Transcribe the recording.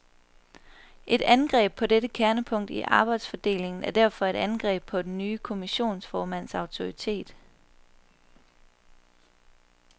Et angreb på dette kernepunkt i arbejdsfordelingen er derfor et angreb på den nye kommissionsformands autoritet.